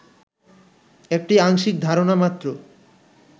একটি আংশিক ধারণা মাত্র